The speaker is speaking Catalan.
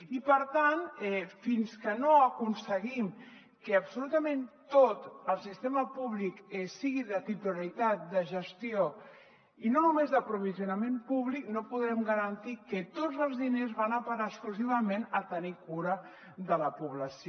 i per tant fins que no aconseguim que absolutament tot el sistema públic sigui de titularitat de gestió i no només d’aprovisionament públic no podrem garantir que tots els diners van a parar exclusivament a tenir cura de la població